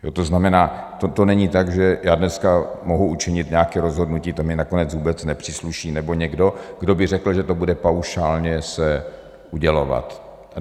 To znamená, to není tak, že já dneska mohu učinit nějaké rozhodnutí, to mi nakonec vůbec nepřísluší, nebo někdo, kdo by řekl, že to bude paušálně se udělovat.